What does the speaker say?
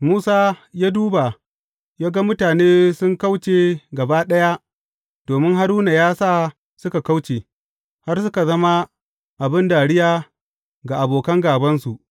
Musa ya duba ya ga mutane sun kauce gaba ɗaya domin Haruna ya sa suka kauce, har suka zama abin dariya ga abokan gābansu.